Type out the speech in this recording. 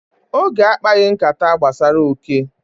Oge akpaghị nkata gbasara oke.